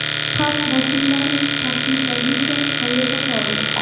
Xalq vakillarining qat’iy pozitsiyasi qayerda qoldi?